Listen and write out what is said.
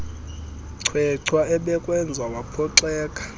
chwechwa ebekwenza waphoxeka